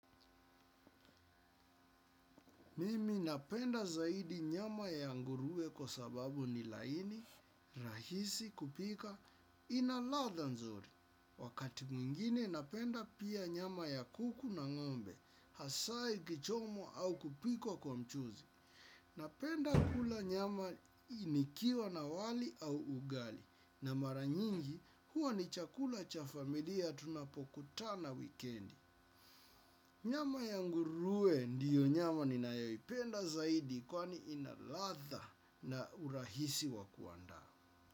Mimi napenda zaidi nyama ya nguruwe kwa sababu ni laini, rahisi, kupika, ina ladha nzuri. Wakati mwingine napenda pia nyama ya kuku na ngombe, hasaa ikichomwa au kupikwa kwa mchuzi. Napenda kula nyama nikiwa na wali au ugali. Na mara nyingi huwa ni chakula cha familia tunapokutana wikendi. Nyama ya nguruwe ndiyo nyama ninayoipenda zaidi kwani ina ladha na urahisi wa kuandaa.